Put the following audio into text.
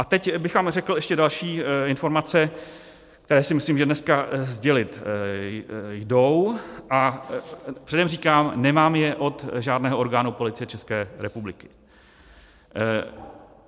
A teď bych vám řekl ještě další informace, které si myslím, že dneska sdělit jdou, a předem říkám, nemám je od žádného orgánu Policie České republiky.